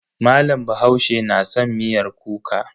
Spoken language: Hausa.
Malam bahaushe na san miyar kuka.